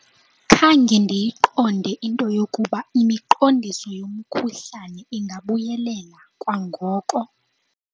Khange ndiyiqonde into yokuba imiqondiso yomkhuhlane ingabuyelela kwangoko.